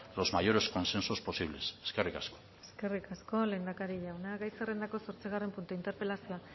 los mayores consensos posibles eskerrik asko eskerrik asko lehendakari jauna gai zerrendako zortzigarren puntua interpelazioa